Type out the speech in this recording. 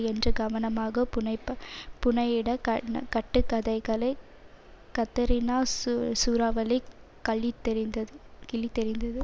என்று கவனமாக புனைப்ப புனையிட கட்டுக்கதைகளை கத்தரினா சு சூறாவளி கழித்தெறிந்தது கிழித்தெறிந்தது